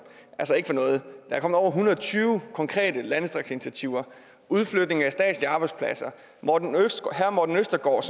er kommet over en hundrede og tyve konkrete landdistriktsinitiativer udflytning af statslige arbejdspladser herre morten østergaard